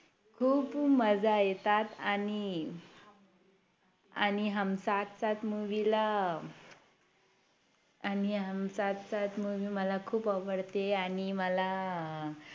खूप मजा येतात आणि आणि हम साथ साथ Movie ला आणि हम साथ साथ Movie मला खूप आवडते आणि मला